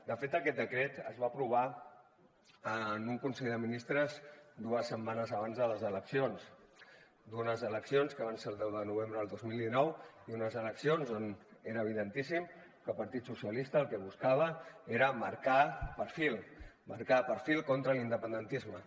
de fet aquest decret es va aprovar en un consell de ministres dues setmanes abans de les eleccions d’unes eleccions que van ser el deu de novembre del dos mil dinou i unes eleccions on era evidentíssim que el partit socialista el que buscava era marcar perfil marcar perfil contra l’independentisme